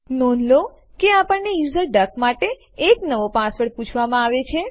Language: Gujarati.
નોંધ લો કે આપણને યુઝર ડક માટે નવો પાસવર્ડ પૂછવામાં આવે છે